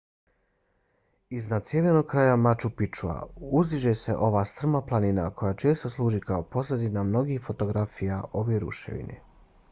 iznad sjevernog kraja machu picchua uzdiže se ova strma planina koja često služi kao pozadina mnogih fotografija ove ruševine